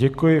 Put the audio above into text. Děkuji.